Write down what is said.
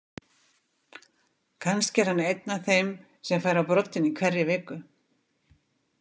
Kannski er hann einn af þeim sem fær á broddinn í hverri viku.